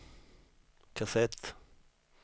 kassett